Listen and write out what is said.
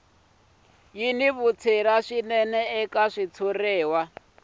ya vutshila swinene eka xitshuriwa